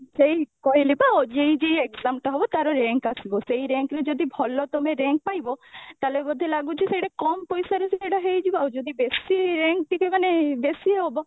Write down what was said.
ସେଇ କହିଲି ପା OJEE JEE exam ଟା ହବ ତାର rank ଆସିବ ସେଇ rank ରେ ଯଦି ଭଲ ତମେ rank ପାଇବ ତାହେଲେ ବୋଧେ ଲାଗୁଛି ସେଇଠି କମ ପଇସାରେ ସେଇଟା ହେଇଯିବ ଆଉ ଯଦି ବେଶି rank ଟିକେ ମାନେ ବେଶି ହବ